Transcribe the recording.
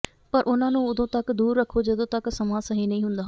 ਪਰ ਉਨ੍ਹਾਂ ਨੂੰ ਉਦੋਂ ਤਕ ਦੂਰ ਰੱਖੋ ਜਦੋਂ ਤੱਕ ਸਮਾਂ ਸਹੀ ਨਹੀਂ ਹੁੰਦਾ